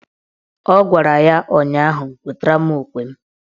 Ọ gwara ya ụnyaahụ "Wetara mụ okwe m"!